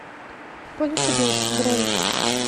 поле чудес бронь